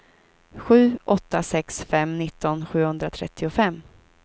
sju åtta sex fem nitton sjuhundratrettiofem